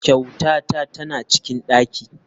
Kyautata tana cikin daki.